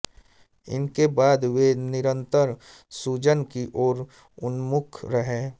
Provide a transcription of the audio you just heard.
इसके बाद वे निरंतर सृजन की ओर उन्मुख रहे